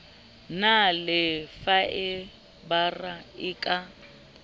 na le faebara e ka